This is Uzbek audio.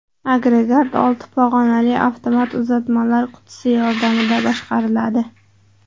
Agregat olti pog‘onali avtomat uzatmalar qutisi yordamida boshqariladi.